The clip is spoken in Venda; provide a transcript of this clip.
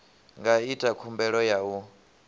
nga ita khumbelo ya u